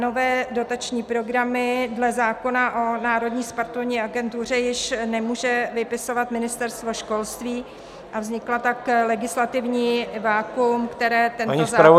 Nové dotační programy dle zákona o Národní sportovní agentuře již nemůže vypisovat Ministerstvo školství a vzniklo tak legislativní vakuum, které tento zákon řeší -